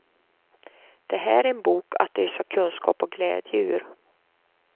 Det här är en bok att ösa kunskap och glädje ur.